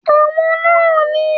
Àwọn náà ni